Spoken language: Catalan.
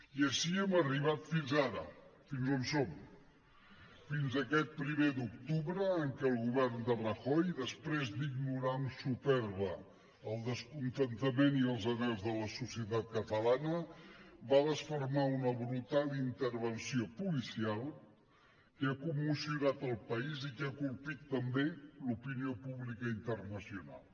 i així hem arribat fins ara fins a on som fins a aquest primer d’octubre en què el govern de rajoy després d’ignorar amb supèrbia el descontentament i els anhels de la societat catalana va desfermar una brutal intervenció policial que ha commocionat el país i que ha colpit també l’opinió pública internacional